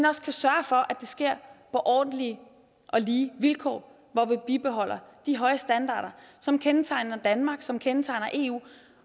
også kan sørge for at det sker på ordentlige og lige vilkår hvor vi bibeholder de høje standarder som kendetegner danmark og som kendetegner eu